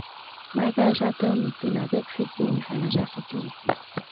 my guy um tell me sey na tech fit give me financial security